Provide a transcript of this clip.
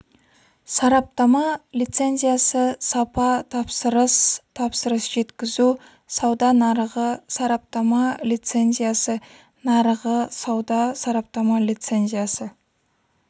сараптама лицензиясы сапа тапсырыс тапсырыс жеткізу сауда нарығы сараптама лицензиясы нарығы сауда сараптама лицензиясы